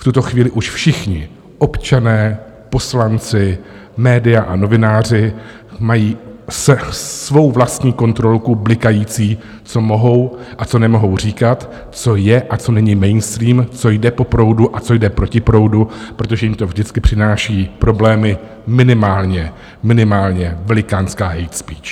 V tuto chvíli už všichni občané, poslanci, média a novináři mají svou vlastní kontrolku blikající, co mohou a co nemohou říkat, co je a co není mainstream, co jde po proudu a co jde proti proudu, protože jim to vždycky přináší problémy, minimálně, minimálně velikánská hate speech.